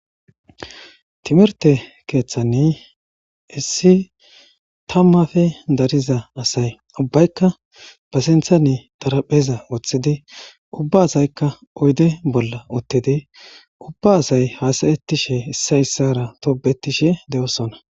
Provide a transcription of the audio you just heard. timirte keeththanni issi tammafe dariza asay ubbaykka pasinthane darapheza woththidi ubba asaykka oyde bolla ottedi ubba asay hasayettishe issa ssara tobetishe de7osona